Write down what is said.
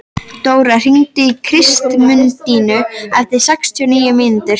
Dóra, hringdu í Kristmundínu eftir sextíu og níu mínútur.